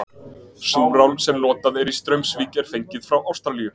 Súrál sem notað er í Straumsvík er fengið frá Ástralíu.